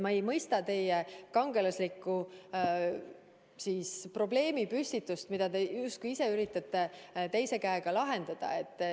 Ma ei mõista teie kangelaslikku probleemipüstitust, mida te justkui ise üritate teise käega lahendada.